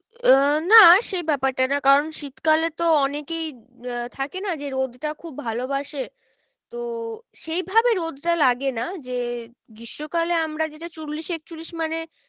আহ না সেই ব্যাপারটা না কারণ শীতকালে তো অনেকেই আহ থাকে না যে রোদটা খুব ভালোবাসে তো সেই ভাবে রোদটা লাগে না যে গ্রীষ্মকালে আমরা যেটা চল্লিশ একচল্লিশ মানে